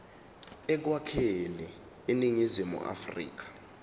ekwakheni iningizimu afrika